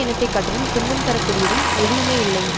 இனத்தை காட்டிலும் துன்பம் தர கூடியதும் எதுவுமே இல்லை